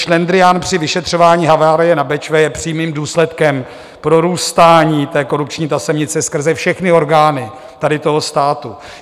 Šlendrián při vyšetřování havárie na Bečvě je přímým důsledkem prorůstání té korupční tasemnice skrze všechny orgány tady toho státu.